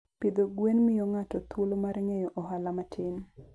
Pidho gwen miyo ng'ato thuolo mar ng'eyo ohala matin.